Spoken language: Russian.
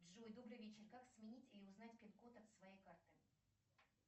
джой добрый вечер как сменить или узнать пин код от своей карты